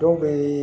Dɔw bɛ